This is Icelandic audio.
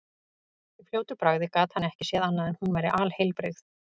Í fljótu bragði gat hann ekki séð annað en hún væri alheilbrigð.